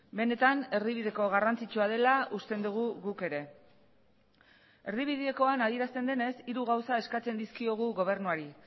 benetan erdibideko garrantzitsua dela usten dugu guk ere erdibidekoan adierazten denez hiru gauza eskatzen dizkiogu gobernuari